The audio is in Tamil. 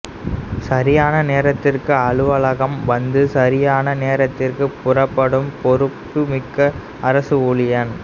சரியான நேரத்துக்கு அலுவலகம் வந்து சரியான நேரத்துக்கு புறப்படும் பொறுப்புமிக்க அரசு ஊழியன்